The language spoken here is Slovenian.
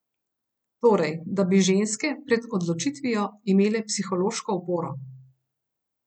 Torej, da bi ženske pred odločitvijo imele psihološko oporo.